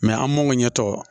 an m'o ɲɛ tɔ